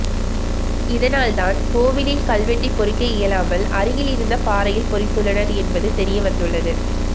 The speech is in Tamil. இதனால்தான் கோவிலில் கல்வெட்டை பொறிக்க இயலாமல் அருகில் இருந்த பாறையில் பொறித்துள்ளனர் என்பது தெரியவந்துள்ளது